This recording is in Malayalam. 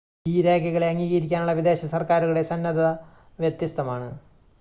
ഈ രേഘകളെ അംഗീകരിക്കാനുള്ള വിദേശ സർക്കാരുകളുടെ സന്നദ്ധത വ്യത്യസ്തമാണ്